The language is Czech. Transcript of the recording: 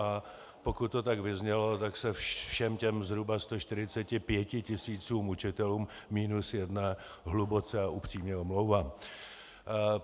A pokud to tak vyznělo, tak se všem těm zhruba 145 tisícům učitelů minus jedné hluboce a upřímně omlouvám.